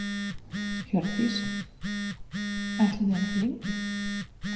Hjördís: Ætlið þið að vera lengi?